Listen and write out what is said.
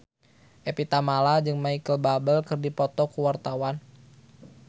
Evie Tamala jeung Micheal Bubble keur dipoto ku wartawan